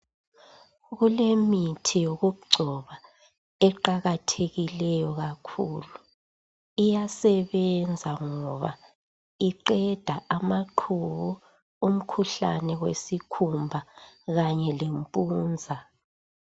Kulemithi yokugcoba eqakathekileyo kakhulu iyasebenza ngoba iqeda amaqubu umkhuhlane wesikhumba kanye lempunza.